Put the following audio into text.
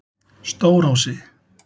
Stórási